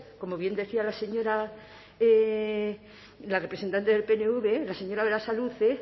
como bien decía la representante del pnv la señora berasaluze